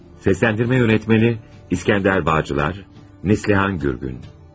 Səsləndirmə rejissoru: İskəndər Bağcılar, Neslihan Gürgün.